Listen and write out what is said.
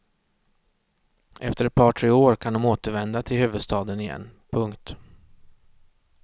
Efter ett par tre år kan de återvända till huvudstaden igen. punkt